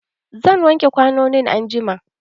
Zan wake kwanonin anjuma.